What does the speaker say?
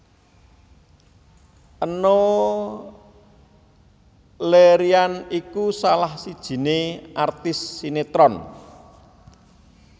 Enno Lerian iku salah sijine artis sinetron